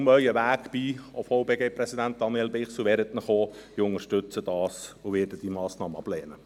Bleiben Sie nur auf Ihrem Weg, und VBG-Präsident, Daniel Bichsel, wehren Sie sich auch.